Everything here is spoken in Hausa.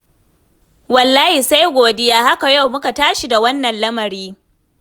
Wallahi sai godiya, haka yau muka tashi da wannan lamari.